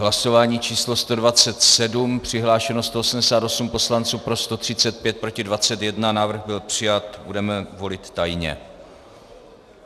Hlasování číslo 127, přihlášeno 188 poslanců, pro 135, proti 21, návrh byl přijat, budeme volit tajně.